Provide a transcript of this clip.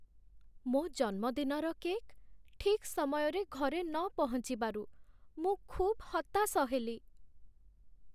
ମୋ ଜନ୍ମଦିନର କେକ୍ ଠିକ୍ ସମୟରେ ଘରେ ନ ପହଞ୍ଚିବାରୁ ମୁଁ ଖୁବ୍ ହତାଶ ହେଲି।